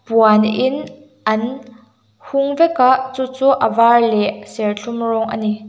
puan in an hung vek a chuchu a var leh serthlum rawng ani.